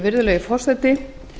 virðulegi forseti